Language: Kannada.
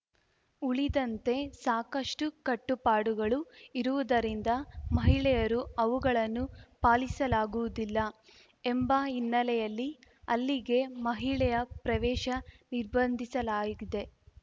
ಉಳಿದಂತೆ ಸಾಕಷ್ಟುಕಟ್ಟುಪಾಡುಗಳು ಇರುವುದರಿಂದ ಮಹಿಳೆಯರು ಅವುಗಳನ್ನು ಪಾಲಿಸಲಾಗುವುದಿಲ್ಲ ಎಂಬ ಹಿನ್ನೆಲೆಯಲ್ಲಿ ಅಲ್ಲಿಗೆ ಮಹಿಳೆಯ ಪ್ರವೇಶ ನಿರ್ಬಂಧಿಸಲಾಗಿದೆ